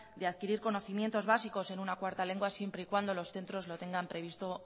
de adquirir conocimientos básicos de una cuarta lengua siempre y cuando los centros lo tengan previsto